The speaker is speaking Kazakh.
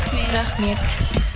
рахмет